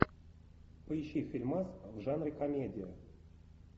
поищи фильмас в жанре комедия